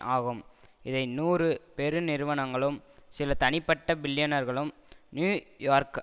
ஆகும் இதை நூறு பெருநிறுவனங்களும் சில தனிப்பட்ட பில்லியனர்களும் நியூ யோர்க்